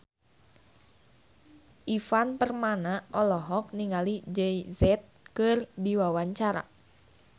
Ivan Permana olohok ningali Jay Z keur diwawancara